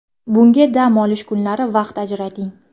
Bunga dam olish kunlari vaqt ajrating.